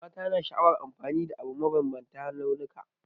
Mata na sha'awar amfani da abu mai mabambantan launuka.